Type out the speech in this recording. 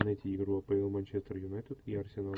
найти игру апл манчестер юнайтед и арсенал